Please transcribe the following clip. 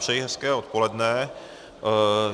Přeji hezké odpoledne.